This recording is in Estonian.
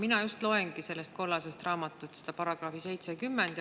Mina just loengi kollasest raamatust § 70.